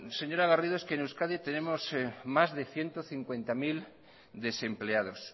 señora garrido es que en euskadi tenemos más de ciento cincuenta mil desempleados